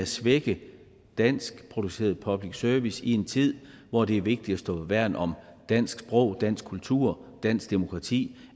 svække danskproduceret public service i en tid hvor det er vigtigt at værne om dansk sprog dansk kultur og dansk demokrati